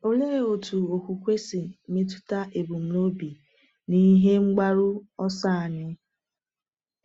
Olee otú okwukwe si metụta ebumnobi na ihe mgbaru ọsọ anyị?